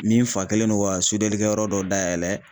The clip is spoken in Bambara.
Min fa kɛlen don ka sodenkɛ yɔrɔ dɔ dayɛlɛ.